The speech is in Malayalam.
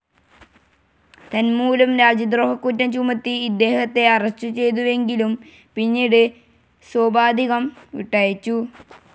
തന്മൂലം രാജ്യദ്രോഹക്കുറ്റം ചുമത്തി ഇദ്ദേഹത്തെ അറസ്റ്റു ചെയ്തുവെങ്കിലും പിന്നീട് സോപാധികം വിട്ടയച്ചു.